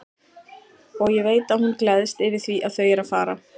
Og ég veit að hún gleðst yfir því að þau eru að fara.